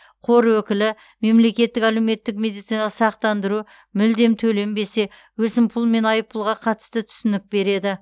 қор өкілі мемлекеттік әлеуметтік медициналық сақтандыру мүлдем төленбесе өсімпұл мен айппұлға қатысты түсінік береді